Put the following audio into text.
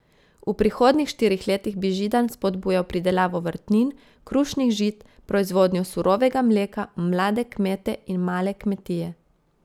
V prihodnjih štirih letih bi Židan spodbujal pridelavo vrtnin, krušnih žit, proizvodnjo surovega mleka, mlade kmete in male kmetije.